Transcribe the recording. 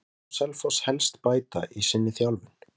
Hvað má Selfoss helst bæta í sinni þjálfun?